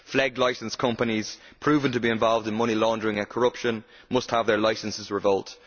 FLEGT licenced companies proven to be involved in money laundering and corruption must have their licences revoked.